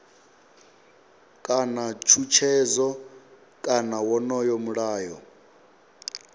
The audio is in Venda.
kana tshutshedzo kana wonoyo mulayo